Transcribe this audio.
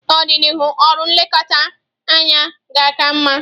N'ọdịnihu, ọrụ nlekọta anya ga-aka mma.